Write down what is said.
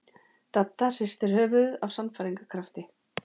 Dadda hristi höfuðið af sannfæringarkrafti.